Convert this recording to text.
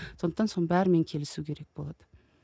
сондықтан соның бәрімен келісу керек болады